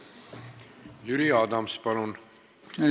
Jüri Adams, palun!